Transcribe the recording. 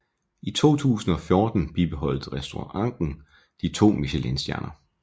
I 2014 bibeholdt restauranten de to michelinstjerner